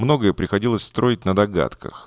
многое приходилось строить надо гадках